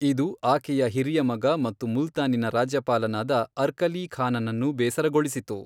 ಇದು ಆಕೆಯ ಹಿರಿಯ ಮಗ ಮತ್ತು ಮುಲ್ತಾನಿನ ರಾಜ್ಯಪಾಲನಾದ ಅರ್ಕಲೀ ಖಾನನನ್ನು ಬೇಸರಗೊಳಿಸಿತು.